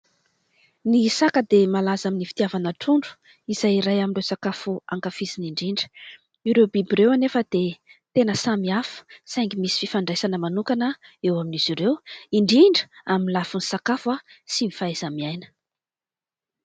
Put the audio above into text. Ny saka dia malaza amin'ny fitiavana trondro izay iray amin'ireo sakafo hankafiziny indrindra. ireo biby ireo anefa dia tena samy hafa saingy misy fifandraisana manokana eo amin'izy ireo indrindra amin'ny lafiny sakafo sy ny fahaiza-miaina.